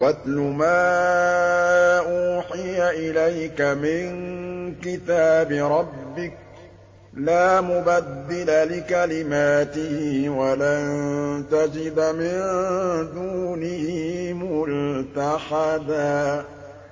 وَاتْلُ مَا أُوحِيَ إِلَيْكَ مِن كِتَابِ رَبِّكَ ۖ لَا مُبَدِّلَ لِكَلِمَاتِهِ وَلَن تَجِدَ مِن دُونِهِ مُلْتَحَدًا